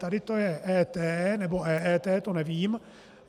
Tady to je ET nebo EET, to nevím.